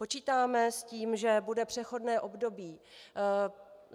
Počítáme s tím, že bude přechodné období.